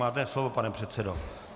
Máte slovo, pane předsedo.